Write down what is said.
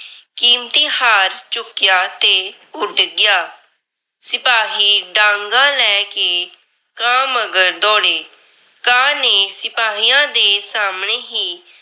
ਕੀਮਤੀ ਹਾਰ ਚੁੱਕਿਆ ਤੇ ਉੱਡ ਗਿਆ। ਸਿਪਾਹੀ ਡਾਂਗਾਂ ਲੈ ਕੇ ਕਾਂ ਮੰਗਰ ਦੌੜੇ, ਕਾਂ ਨੇ ਸਿਪਾਹੀਆਂ ਦੇ ਸਾਹਮਣੇ ਹੀ